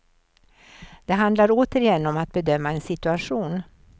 Det handlar återigen om att bedöma en situation.